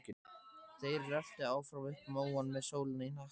Þeir röltu áfram upp móann með sólina í hnakkann.